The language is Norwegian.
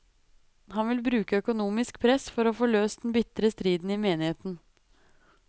Han vil bruke økonomisk press for å få løst den bitre striden i menigheten.